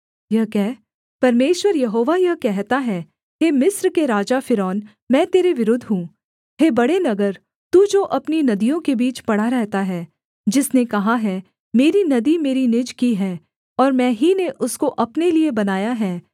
यह कह परमेश्वर यहोवा यह कहता है हे मिस्र के राजा फ़िरौन मैं तेरे विरुद्ध हूँ हे बड़े नगर तू जो अपनी नदियों के बीच पड़ा रहता है जिसने कहा है मेरी नदी मेरी निज की है और मैं ही ने उसको अपने लिये बनाया है